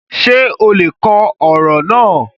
Ṣè ó lè kọ̀ ọ̀rọ̀ naa?